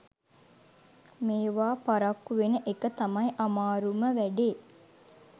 මේවා පරක්කු ‍වෙන එක තමයි අමාරුම වැ‍ඩේ.